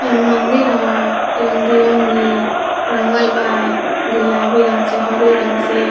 हई मंदिर ह रंग-बिरंगी रंगल बा गुलाबी रंग से हरियर रंग से।